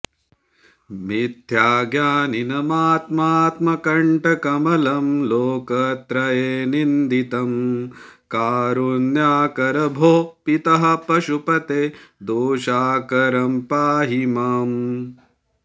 मिथ्याज्ञानिनमात्मात्मकण्टकमलं लोकत्रये निन्दितं कारुण्याकर भोः पितः पशुपते दोषाकरं पाहि माम्